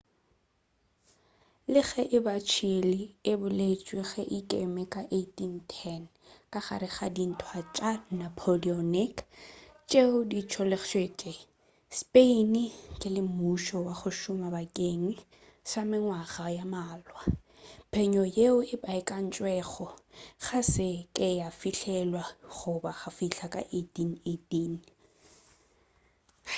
le ge e ba chile e boletšwe ge e ikeme ka 1810 ka gare ga dintwa tša napoleonic tšeo di tlogetšego spain ntle le mmušo wa go šoma bakeng sa mengwaga ye mmalwa phenyo yeo e baekantšwego ga sa ka ya fihlelelwa go ba go fihla ka 1818